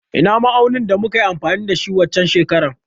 Ina ma'aunin da muka yi amfani da shi waccen shekarar?